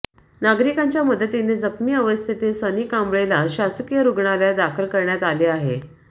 नागरिकांच्या मदतीने जखमी अवस्थेतील सनी कांबळेला शासकीय रुग्णालयात दाखल करण्यात आले आहे